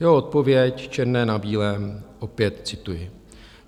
Jeho odpověď, černé na bílém, opět cituji.